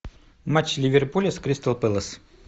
матч ливерпуля с кристал пэлас